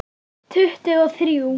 Tuttugu og þrjú!